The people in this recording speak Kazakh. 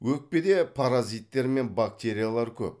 өкпеде паразиттер мен бактериялар көп